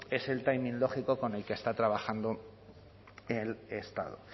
es el timing lógico con el que está trabajando el estado